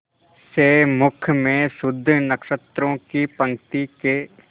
से मुख में शुद्ध नक्षत्रों की पंक्ति के